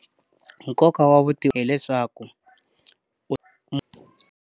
Nkoka wa hileswaku .